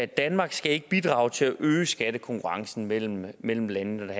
danmark skal ikke bidrage til at øge skattekonkurrencen mellem mellem landene når